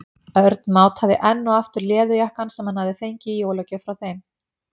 Örn mátaði enn og aftur leðurjakkann sem hann hafði fengið í jólagjöf frá þeim.